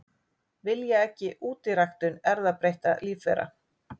Vilja ekki útiræktun erfðabreyttra lífvera